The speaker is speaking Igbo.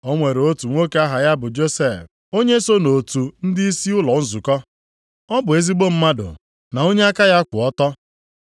O nwere otu nwoke aha ya bụ Josef, onye so nʼotu ndịisi ụlọ nzukọ. Ọ bụ ezigbo mmadụ na onye aka ya kwụ ọtọ.